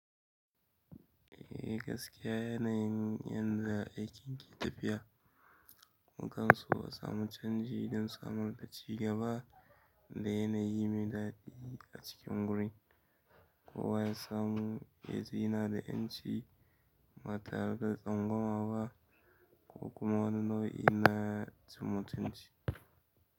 Gaskiya yanayin yanda aikin ke tafiya, mukan so a samu canji don samun a cigaba da yana yi mai daɗi a cikin gurin, ko wa ya samu, yaji yana da 'yanci ba tare da tsangwama ba, ko kuma wanni nau'i na cin mutunci.